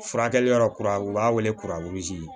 Furakɛli yɔrɔ kura u b'a wele kurazi